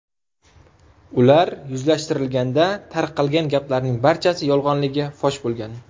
Ular yuzlashtirilganda tarqalgan gaplarning barchasi yolg‘onligi fosh bo‘lgan.